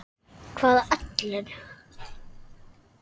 Hvaða Ellen?